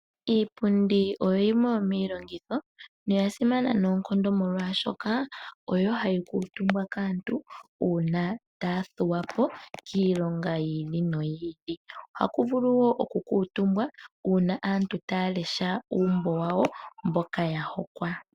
Iipundi oyo yimwe yomiilongitho noya simana noonkondo molwaashoka oyo hayi kuutumbwa kaantu uuna taya thuwapo kiilonga yiili noyiili, ohaku vulu woo oku kuutumbwa uuna aantu taya lesha uumbo wawo mboka ya hokwa.